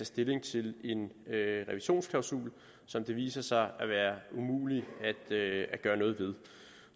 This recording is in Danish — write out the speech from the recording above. stilling til en revisionsklausul som viser sig at være umulig at gøre noget ved